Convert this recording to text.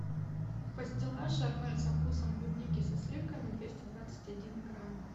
пастила шармель со вкусом клубники со сливками двести двадцать один грамм